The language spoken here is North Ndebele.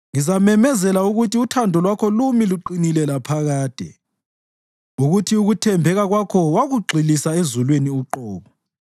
Ngizamemezela ukuthi uthando lwakho lumi luqinile laphakade, ukuthi ukuthembeka kwakho wakugxilisa ezulwini uqobo.